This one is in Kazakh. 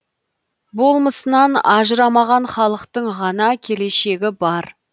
болмысынан ажырамаған халықтың ғана келешегі бар